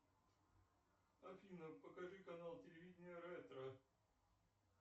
афина покажи канал телевидения ретро